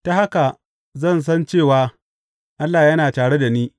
Ta haka zan san cewa Allah yana tare da ni.